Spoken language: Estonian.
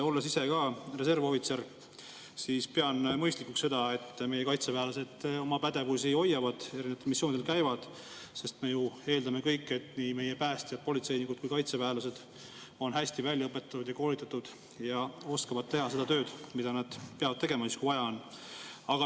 Olles ise ka reservohvitser, pean mõistlikuks seda, et meie kaitseväelased oma pädevusi hoiavad ja erinevatel missioonidel käivad, sest me kõik ju eeldame, et nii meie päästjad, politseinikud kui ka kaitseväelased on hästi välja õpetatud ja koolitatud ja oskavad teha seda tööd, mida nad peavad tegema siis, kui vaja on.